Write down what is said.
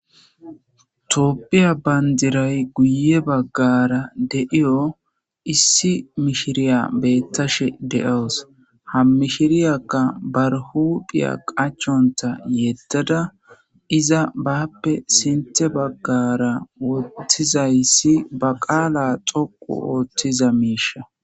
Topphiya bandiray guye baggara deiyo issi mishiriya beettashe de7oos ha mishiriyakka barhuphiya qachonta yeddada iza bappe sinte baggara wottizayssi ba qaala xoqu ooththiza miisha.